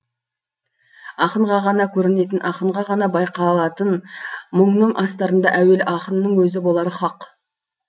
ақынға ғана көрінетін ақынға ғана байқалатын мұңның астарында әуелі ақынның өзі болары хақ